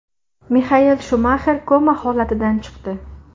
Mixael Shumaxer koma holatidan chiqdi.